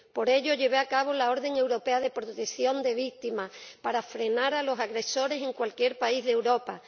Por ello, llevé a cabo la orden europea de protección de las víctimas para frenar a los agresores en cualquier país de Europa.